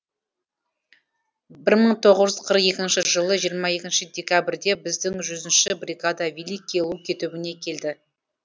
бір мың тоғыз жүз қырық екінші жылы жиырма екінші декабрьде біздің жүзінші бригада великие луки түбіне келді